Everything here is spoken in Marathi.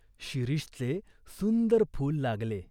शिरीषचे सुंदर फूल लागले.